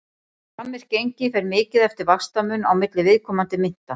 Framvirkt gengi fer mikið eftir vaxtamun á milli viðkomandi mynta.